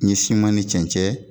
N ye siman ni cɛncɛn